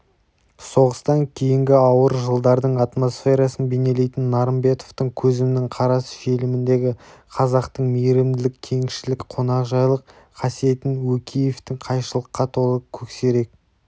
соғыстан кейінгі ауыр жылдардың атмосферасын бейнелейтін нарымбетовтің көзімнің қарасы фильміндегі қазақтың мейірімділік кеңшілік қонақжайлық қасиетін өкеевтің қайшылыққа толы көксерек